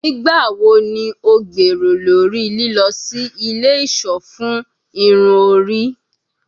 Nigbawo ni o gbero lori lilọ si ile iṣọ fun irun ori?